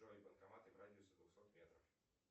джой банкоматы в радиусе двухсот метров